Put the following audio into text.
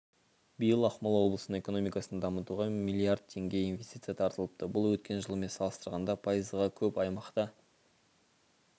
биыл ақмола облысының экономикасын дамытуға млрд теңге инвестиция тартылыпты бұл өткен жылмен салыстырғанда пайызға көп аймақта